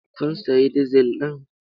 Kun sayi dizil ɗin?